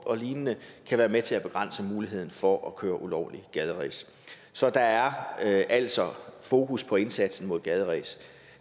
og lignende kan være med til at begrænse muligheden for at køre ulovligt gaderæs så der er altså fokus på indsatsen mod gaderæs